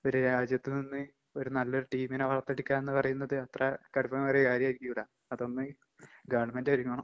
ഒര് രാജ്യത്ത് നിന്ന് ഒരു നല്ലൊരു ടീമിനെ വളർത്തിയെടുക്കാന്ന് പറയുന്നത് അത്ര കടുപ്പമേറിയ കാര്യായിരിക്കൂല. അതൊന്ന് ഗവൺമെന്റൊരുങ്ങണം.